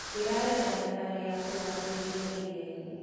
Ndĩrarĩ na thabarĩ ya kũgucĩrĩria iria-inĩ.